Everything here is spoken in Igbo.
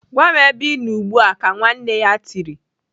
"Gwa m ebe Ị nọ ugbu a!" Ka nwanne ya tiri.